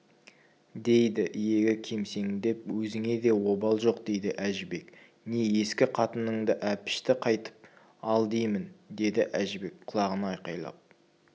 дейді иегі кемсеңдеп өзіңе де обал жоқ дейді әжібек не ескі қатыныңды әпішті қайтып ал деймін деді әжібек құлағына айқайлап